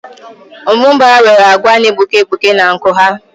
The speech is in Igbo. Mbụbara nwere agba na-egbuke egbuke na nku ha.